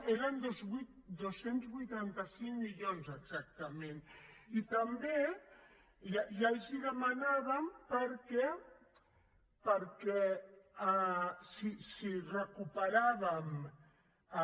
eren dos cents i vuitanta cinc milions exactament i també ja els ho demanàvem perquè si recuperàvem el